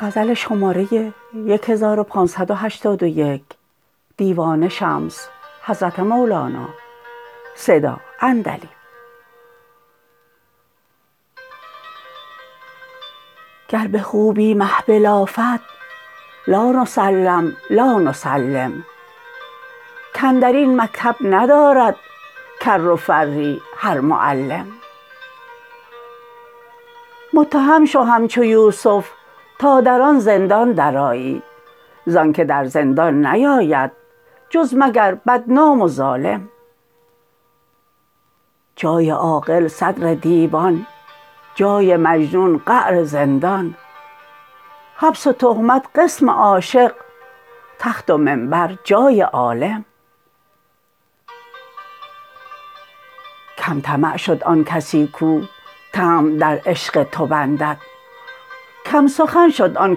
گر به خوبی می بلافد لا نسلم لا نسلم کاندر این مکتب ندارد کر و فری هر معلم متهم شو همچو یوسف تا در آن زندان درآیی زانک در زندان نیاید جز مگر بدنام و ظالم جای عاقل صدر دیوان جای مجنون قعر زندان حبس و تهمت قسم عاشق تخت و منبر جای عالم کم طمع شد آن کسی کو طمع در عشق تو بندد کم سخن شد آن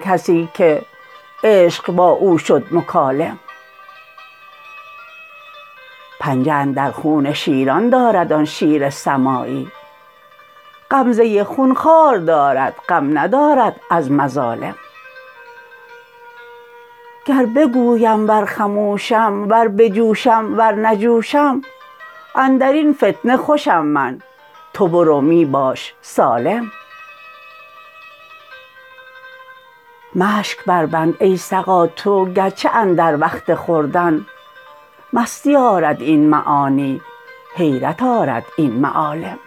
کسی که عشق با او شد مکالم پنجه اندر خون شیران دارد آن شیر سمایی غمزه خون خوار دارد غم ندارد از مظالم گر بگویم ور خموشم ور بجوشم ور نجوشم اندر این فتنه خوشم من تو برو می باش سالم مشک بربند ای سقا تو گرچه اندر وقت خوردن مستی آرد این معانی حیرت آرد این معالم